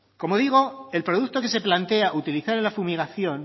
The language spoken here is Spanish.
como digo el producto que se plantea utilizar en la fumigación